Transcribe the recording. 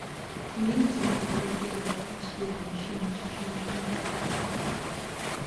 имеется ли у тебя эпизод двадцать четыре мужчина ищет женщину